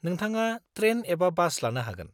-नोंथाङा ट्रेन एबा बास लानो हागोन।